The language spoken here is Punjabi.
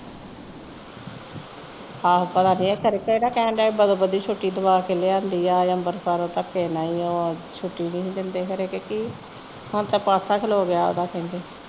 ਆਹ ਤੇ ਨਹੀਂ ਛੁੱਟੀ ਦਿੰਦੇ ਤੇ ਰਹਿਣ ਦਿੰਦੇ ਹੈਨਾ